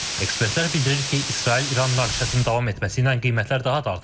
Ekspertlər bildirir ki, İsrail-İran münaqişəsinin davam etməsi ilə qiymətlər daha da artacaq.